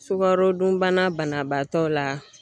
Sukarodunbanabaatɔ la